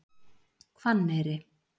Hvanneyri